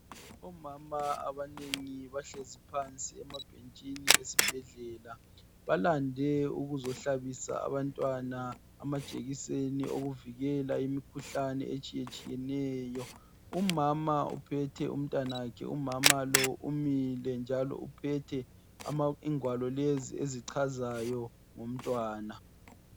Omama abanengi bahlezi phansi emabhentshini esibhedlela balande ukuzohlabisa abantwana amajekiseni okuvikela imikhuhlane etshiye tshiyeneyo umama uphethe umntanakhe umama lo umile njalo uphethe ingwalo lezi ezichazayo ngomntwana.